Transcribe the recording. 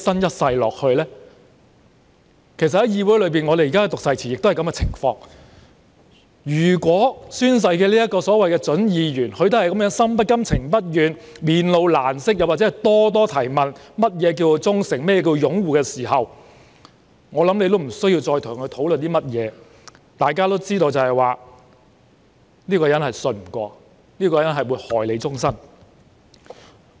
這與在議會內宣讀誓詞的情況相同，如果宣誓的準議員心不甘、情不願，面露難色或就何謂"忠誠"、"擁護"等諸多疑問，我想也不用再跟他討論甚麼，因為大家都知道這個人信不過、會害人一生。